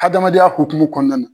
Hadamadenya hokumu kɔɔna na